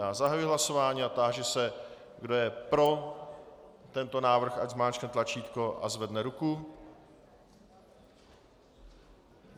Já zahajuji hlasování a táži se, kdo je pro tento návrh, ať zmáčkne tlačítko a zvedne ruku.